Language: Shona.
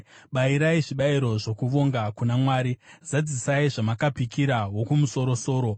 “Bayirai zvibayiro zvokuvonga kuna Mwari, zadzisai zvamakapikira Wokumusoro-soro,